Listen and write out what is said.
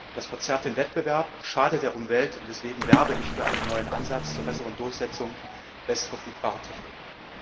Das verzerrt den Wettbewerb, schadet der Umwelt, und deswegen werbe ich für einen neuen Ansatz zur besseren Durchsetzung bestverfügbarer Techniken.